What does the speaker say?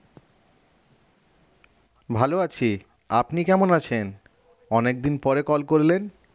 ভালো আছি আপনি কেমন আছেন অনেকদিন পরে call করলেন